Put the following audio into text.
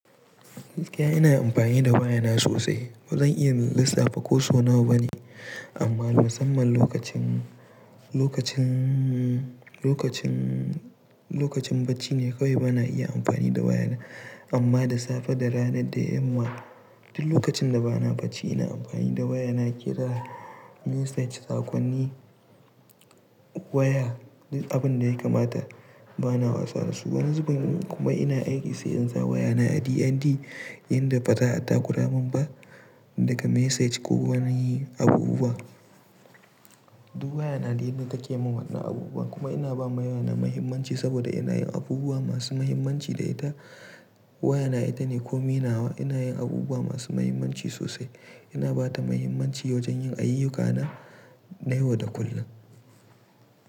Ni ƙaya ina amfani da waya na sosai. Ba zan iya lissafa ko so nawa ba ne, amma musamman lokacin, lokacin, lokacin, lokacin bacci ne kawai ba na iya amfani da waya na. Amma da safe, da rana, da yamma duk lokacin da ba na bacci ina amfani da waya na kira, message, sakonni, waya duk abin da ya kamata ba na wasa da su. Wani zubin kuma ina aiki sai in sa waya na a DND inda baza a takuramin ba daga message ko wani abubuwa. Duk waya na ne ita take mun wada abubuwa. Kuma ina ba waya na muhimmanci saboda ina yin abubuwa masu muhimmanci da ita. Waya na ita ne komi nawa. Ina yin abubuwa masu muhimmanci sosai. Ina ba ta muhimmanci wajen yin ayyukana na yau da kullum.